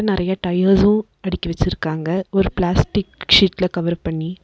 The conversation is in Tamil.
நறைய டயர்ஸ்சு அடுக்கி வெச்சிருக்காங்க ஒரு பிளாஸ்டிக் ஷீட்ல கவர் பண்ணி.